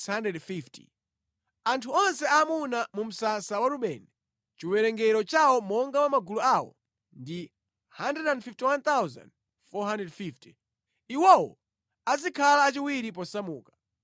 Anthu onse aamuna mu msasa wa Rubeni, chiwerengero chawo monga mwa magulu awo, ndi 151,450. Iwowo azikhala achiwiri posamuka.